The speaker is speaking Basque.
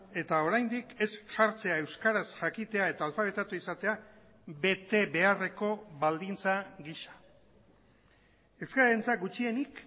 eta oraindik ez jartzea euskaraz jakitea eta alfabetatu izatea bete beharreko baldintza gisa euskararentzat gutxienik